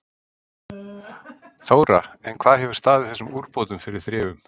Þóra: En hvað hefur staðið þessum úrbótum fyrir þrifum?